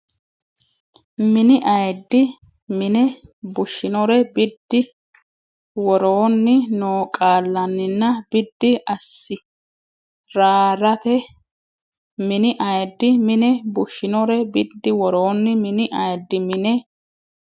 Mini ayiddi mine bushinore biddi woroonni noo qaallanninna biddi assi raraati Mini ayiddi mine bushinore biddi woroonni Mini ayiddi mine.